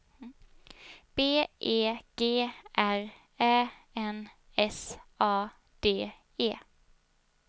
B E G R Ä N S A D E